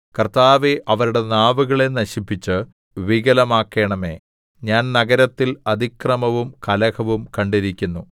കർത്താവേ അവരുടെ നാവുകളെ നശിപ്പിച്ച് വികലമാക്കണമേ ഞാൻ നഗരത്തിൽ അതിക്രമവും കലഹവും കണ്ടിരിക്കുന്നു